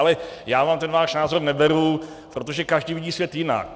Ale já vám ten váš názor neberu, protože každý vidí svět jinak.